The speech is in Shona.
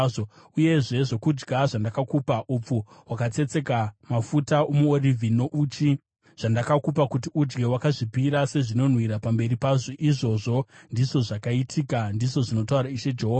Uyezve zvokudya zvandakakupa, upfu hwakatsetseka, mafuta omuorivhi nouchi zvandakakupa kuti udye, wakazvipira sezvinonhuhwira pamberi pazvo. Izvozvo ndizvo zvakaitika, ndizvo zvinotaura Ishe Jehovha.